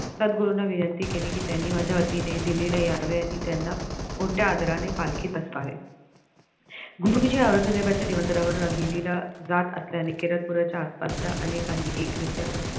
सद्गुरूंना विनंती केली की त्यांनी माझ्या वतीने दिल्लीला यावे आणि त्याना मोठ्या आदराने या पालखीत बसवावे गुरुजी औरंगजेबाच्या निमंत्रणावरून दिल्लीला जात असल्याने केरदपुराच्या आसपासच्या अनेकांनी एक निश्चय